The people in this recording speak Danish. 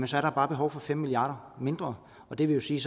så er der bare behov for fem milliard kroner mindre og det vil sige